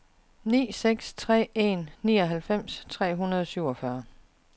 ni seks tre en nioghalvfems tre hundrede og syvogfyrre